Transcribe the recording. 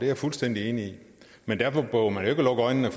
jeg fuldstændig enig i men derfor behøver man jo ikke at lukke øjnene